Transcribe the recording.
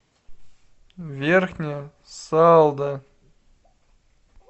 верхняя салда